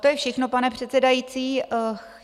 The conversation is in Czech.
To je všechno, pane předsedající.